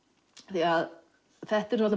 því að þetta eru